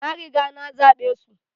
na riga nazabe su